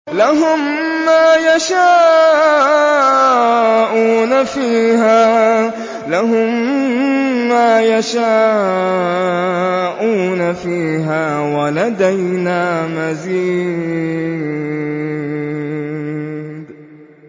لَهُم مَّا يَشَاءُونَ فِيهَا وَلَدَيْنَا مَزِيدٌ